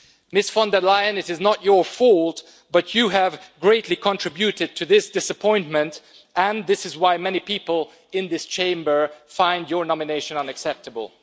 Ms von der Leyen, it is not your fault, but you have greatly contributed to this disappointment, and this is why many people in this Chamber find your nomination unacceptable.